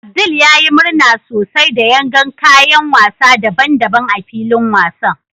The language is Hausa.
Abdul ya yi murna sosai da yagan kayan wasa daban-daban a filin wasan